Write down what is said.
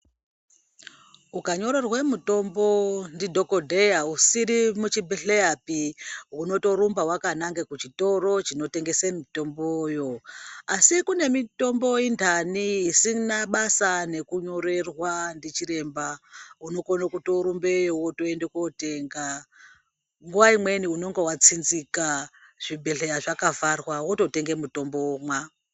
Ukanyorerwa mitombo ndidhokodheya usiri muchibhedhleyapi unotorumba wakanaka kuchitoro chinotengesa mitomboyo, asi kune mitombo intani isina basa nekunyorerwa ndichiremba. Unokone kutorumbeyo wotoenda kototenga nguwa imweni unenge watsinzika zvibhedhleya zvakavharwa wototenga mutombo womwa.